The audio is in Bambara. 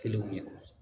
Kelenw de kɔnɔ